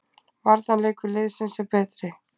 Varnarleikur liðsins er betri